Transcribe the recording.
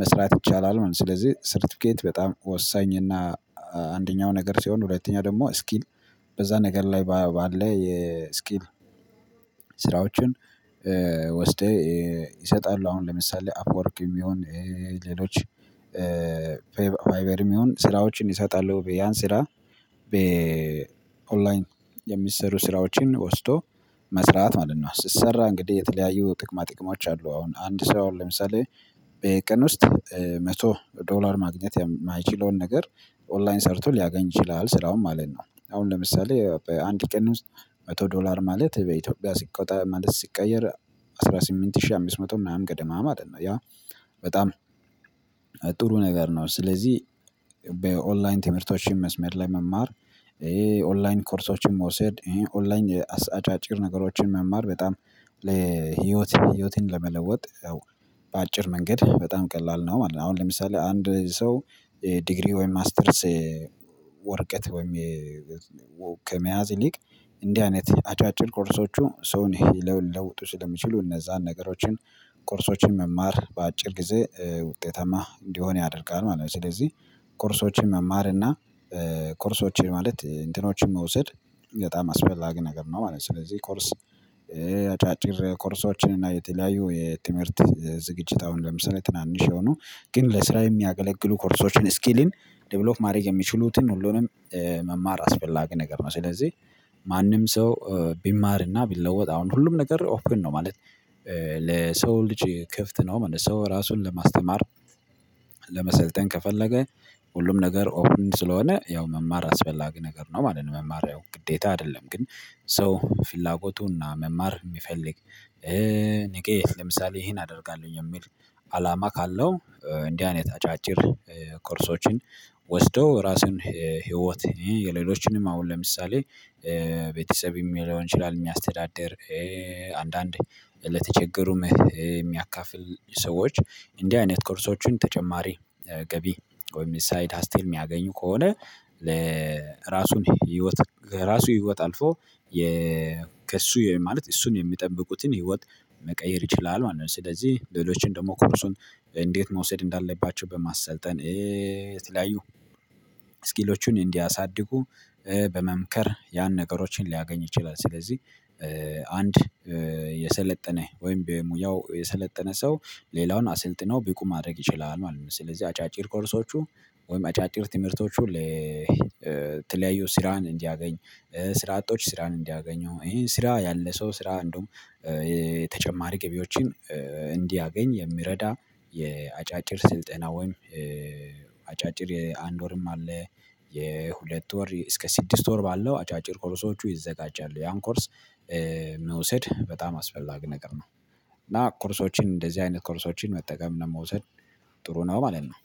መስራት ይቻላል ማለት ነው። ስለዚህ ሰርቲፊኬት በጣም ወሳኝ እና አንደኛው ነገር ሲሆን ሁለተኛ ደግሞ ስኪል በዛ ነገር ላይ ባለ የስኪል ስራዎችን ወስደህ ይሰጣል አሁን ለምሳሌ አፕዎርክም ሆጠይሁን ሌሎች ፋይበርም ይሁን ስራዎችን ይሰጣሉ ያን ስራ በ ኦንላይን የሚሰሩ ስራዎችን ወስዶ መስራት ማለት ነው። ስትሰራ እንግዲህ የተለያዩ ጥቅማ ጥቅሞች አሉ። አሁን አንድ ሰው ለምሳሌ በቀን ውስጥ መቶ ዶላር ማግኘት የማይችለውን ነገር ኦንላይን ሰርቶ ሊያገኝ ይችላል ስራውን ማለት ነው። አሁን ለምሳሌ በአንድ ቀን ውስጥ መቶ ዶላር ማለት በኢትዮጵያ ሲቆጣ ማለት ሲቀየር አስራ ስምንት ሺህ አምስት መቶ መቶ ምናምን ገደማ ማለት ነው። ያ በጣም ጥሩ ነገር ነው። ስለዚህ ኦንላይን ትምህርቶችን መስመር ላይ መማር ይሄ ኦንላይን ኮርሶችን መውሰድ ይሄ ኦንላይን አጫጭር ነገሮችን መማር በጣም ለህይወት ህይወትን ለመለወጥ በአጭር መንገድ በጣም ቀላል ነው ማለት ነው። አሁን ለምሳሌ አንድ ሰው ዲግሪ ወይም ማስተርስ ወርቀት ወይም ከመያዝ ይሊቅ እንዲህ አይነት አጫጭር ኮርሶች ሰውን ልለውጡ ስለሚችሉ እነዛን ነገሮችን ኮርሶችን መማር በአጭር ጊዜ ውጤታማ እንዲሆን ያደርጋል ማለት ነው። ስለዚህ ኮርሶችን መማር እና ኮርሶችን ማለት እንትኖችን መውሰድ በጣም አስፈላጊ ነገር ነው ማለት ነው። ስለዚህ ኮርስ አጫጭር ኮርሶችን እና የተለያዩ የትምህርት ዝግጅት አሁን ለምሳሌ ትናንሽ የሆኑ ግን ለስራ የሚያገለግሉ ኮርሶችን ስኪልን ዴቨሎፍ ማድረግ የሚችሉትን ሁሉንም መማር አስፈላጊ ነገር ነው። ስለዚህ ማንም ሰው ቢማርና ቢለወጥ አሁን ሁሉም ነገር ኦፕን ነው ማለት ለሰው ልጅ ክፍት ነው ምንም ሰው ራሱን ለማስተማር ለመሰልጠን ከፈለገ ሁሉም ነገር ኦፕን ስለሆነ ያው መማር አስፈላጊ ነገር ነው ማለት ነው። መማር ያው ግዴታ አይደለም። ግን ሰው ፍላጎቱና መማር የሚፈልግ ነጌ ለምሳሌ ይሄን አደርጋለሁ የሚል አላማ ካለው እንዲህ አይነት አጫጭር ቁርሶችን ወስደው የራስን ህይወት የሌሎችንም አሁን ለምሳሌ ቤተሰብም ልሆን ይችላል የሚያስተዳድር አንዳንዴ ለተቸገሩም የሚያካፍል ሰዎች እንዲህ አይነት ኮርሶችን ተጨማሪ ገቢ ወይም ሳይድ ሀስል የሚያገኙ ከሆነ ለራሱን ህይወት ከራሱ ህይወት አልፎ ከእሱ ማለት እሱን የሚጠብቁትን ህይወት መቀየር ይችላል ማለት ነው። ስለዚህ ሌሎችን ደግሞ ኮርሱን እንዴት መውሰድ እንዳለባቸው በማሰልጠን የትለያዩ ስኪሎቹን እንዲያሳድጉ በመምከር ያን ነገሮችን ሊያገኝ ይችላል። ስለዚህ አንድ የሰለጠነ ወይም የሙያው የሰለጠነ ሰው ሌላውን አሰልጥነው ቢቁ ማድረግ ይችላል ማለት ነው። ስለዚህ አጫጭር ኮርሶቹ ወይም አጫጭር ትምህርቶቹ ለተለያዩ ስራን እንዲያገኝ ስራ አጦች ስራን እንዲያገኙ ይሄን ስራ ያለ ሰው ስራ እንደውም ተጨማሪ ገቢዎችን እንዲያገኝ የሚረዳ የአጫጭር ስልጠና ወይም አጫጭር የአንድ ወርም አለ የሁለት ወር እስከ ስድስት ወር ባለው አጫጭር ኮርሶቹ ይዘጋጃሉ። ያን ኮርስ መውሰድ በጣም አስፈላጊ ነገር ነው። እና ኮርሶችን እንደዚህ አይነት ኮርሶችን መጠቀም እና መውሰድ ጥሩ ነው ማለት ነው።